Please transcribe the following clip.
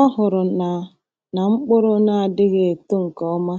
O hụrụ na na mkpụrụ na-adịghị eto nke ọma